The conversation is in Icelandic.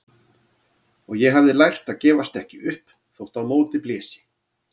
Og ég hafði lært að gefast ekki upp þótt á móti blési.